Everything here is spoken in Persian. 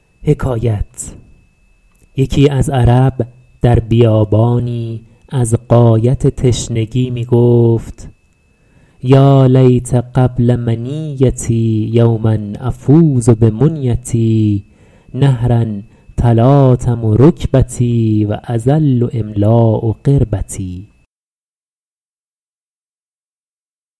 یکی از عرب در بیابانی از غایت تشنگی می گفت یا لیت قبل منیتي یوما أفوز بمنیتي نهرا تلاطم رکبتي و أظل أملأ قربتي